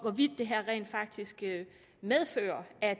det her rent faktisk medfører at